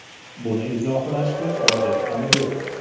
Buni izohlashga hojat ham yo‘q.